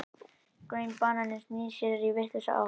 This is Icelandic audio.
Græni bananinn snýr sér í vitlausa átt.